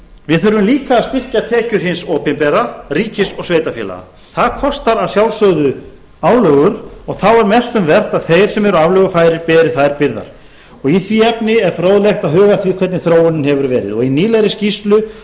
við þurfum líka að styrkja tekjur hins opinbera ríkis og sveitarfélaga það kostar að sjálfsögðu álögur og þá er mest um vert að þeir sem eru aflögufærir beri þær byrðar og í því efni er fróðlegt að huga að því hvernig þróunin hefur verið í nýlegri skýrslu